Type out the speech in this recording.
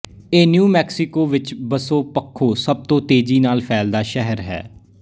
ਇਹ New Mexico ਵਿੱਚ ਵਸੋਂ ਪੱਖੋਂ ਸਭ ਤੋਂ ਤੇਜ਼ੀ ਨਾਲ਼ ਫੈਲਦਾ ਸ਼ਹਿਰ ਹੈ